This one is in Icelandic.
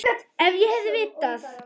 Ef ég hefði vitað.